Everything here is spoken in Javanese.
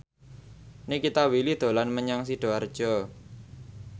Nikita Willy dolan menyang Sidoarjo